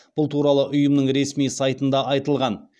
бұл туралы ұйымның ресми сайтында айтылған